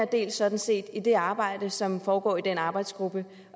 del sådan set i det arbejde som foregår i den arbejdsgruppe